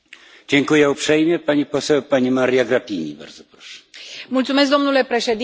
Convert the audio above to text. Mulțumesc domnule președinte, de la bun început spun că am votat, am susținut acest raport.